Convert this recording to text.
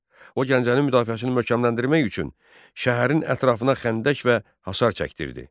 O Gəncənin müdafiəsini möhkəmləndirmək üçün şəhərin ətrafına xəndək və hasar çəkdirdi.